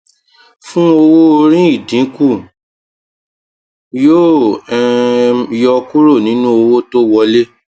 fún owóorí ìdínkù yóò um yọ kúrò nínú owó tó wọlé